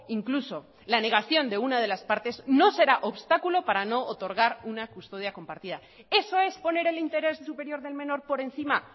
incluso la negación de una de las partes no será obstáculo para no otorgar una custodia compartida eso es poner el interés superior del menor por encima